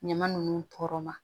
Ɲama ninnu tɔɔrɔ ma